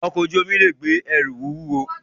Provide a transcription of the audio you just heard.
Ọkọ̀ ojú omi lè gbé ẹrù wúwo